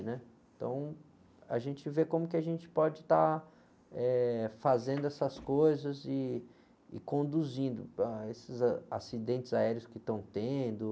né? Então, a gente vê como que a gente pode estar fazendo essas coisas e, e conduzindo. Ah, esses acidentes aéreos que estão tendo.